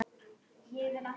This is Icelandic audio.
Eða hvað það er kallað.